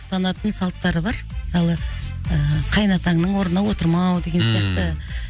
ұстанатын салттары бар мысалы ы қайын атаңнын орнына отырмау деген сияқты